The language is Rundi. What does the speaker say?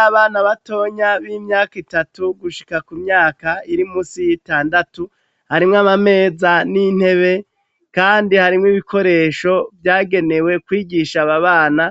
Abana batonya b'imyaka itatu gushika ku myaka iri munsi y'itandatu harimwe amameza n'intebe kandi harimwo ibikoresho vyagenewe kwigisha ababana